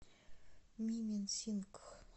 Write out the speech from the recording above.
мименсингх